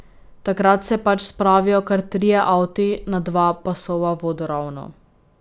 Takrat se pač spravijo kar trije avti na dva pasova vodoravno.